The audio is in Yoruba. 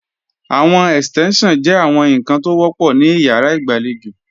Àwọn Ẹ̀stẹ́ńṣàn jẹ́ àwọn ǹkan tó wọ́pọ̀ ní ìyàrá ìgbàlejò